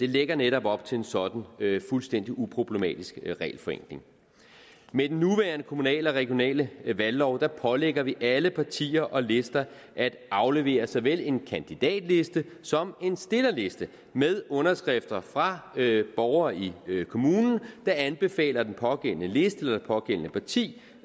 lægger netop op til en sådan fuldstændig uproblematisk regelforenkling med den nuværende kommunale og regionale valglov pålægger vi alle partier og lister at aflevere såvel en kandidatliste som en stillerliste med underskrifter fra borgere i kommunen der anbefaler den pågældende liste eller det pågældende parti